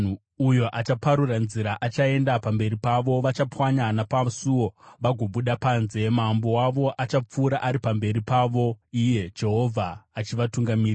Uyo achaparura nzira achaenda pamberi pavo; vachapwanya napasuo vagobuda panze. Mambo wavo achapfuura ari pamberi pavo, Iye Jehovha achivatungamirira.”